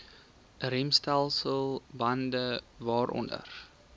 remstelsel bande waaronder